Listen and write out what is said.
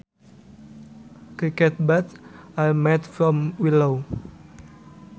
Cricket bats are made from willow